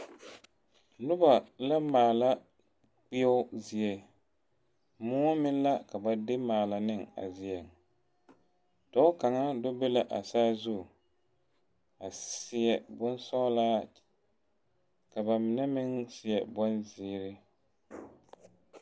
Noba la maala kpeoɔ zie moɔ meŋ la ka ba de maala a zie dɔɔ kaŋa bebe la a saazu a seɛ bonsɔglaa ka ba mine meŋ seɛ bonzeere.